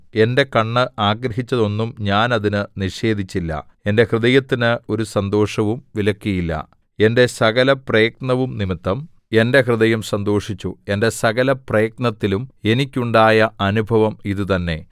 എന്റെ കണ്ണ് ആഗ്രഹിച്ചതൊന്നും ഞാൻ അതിന് നിഷേധിച്ചില്ല എന്റെ ഹൃദയത്തിന് ഒരു സന്തോഷവും വിലക്കിയില്ല എന്റെ സകലപ്രയത്നവുംനിമിത്തം എന്റെ ഹൃദയം സന്തോഷിച്ചു എന്റെ സകലപ്രയത്നത്തിലും എനിക്കുണ്ടായ അനുഭവം ഇതുതന്നെ